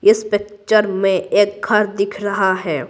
इस पिक्चर में एक घर दिख रहा है।